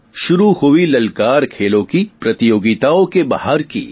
શુરુ હુઇ લલકાર ખેલોં કી પ્રતિયોગિતા ઓ કે બહાર કી